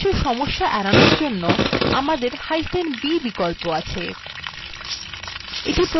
এই মতন কিছু সমস্যা এড়ানোর জন্য আমদেরb বিকল্প আছে